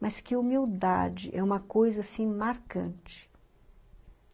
Mas que humildade, é uma coisa assim, marcante.